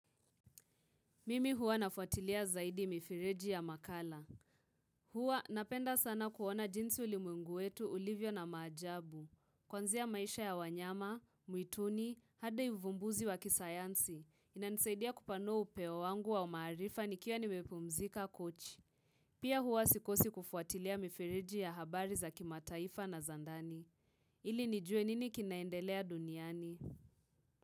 Mimi huwa nafuatilia zaidi mifireji ya makala. Huwa napenda sana kuona jinsi ulimwegu wetu, ulivyo na maajabu. Kwanzia maisha ya wanyama, muituni, hadi uvumbuzi wa kisayansi. Inanisaidia kupanua upeo wangu wa umaarifa nikiwa nimepumzika kochi. Pia huwa sikosi kufuatilia mifireji ya habari za kimataifa na za ndani. Ili nijue nini kinaendelea duniani?